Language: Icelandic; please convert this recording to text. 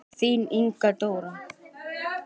Þín Inga Dóra.